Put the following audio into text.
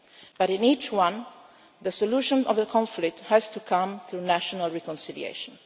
But in each one, the solution to the conflict has to come through national reconciliation.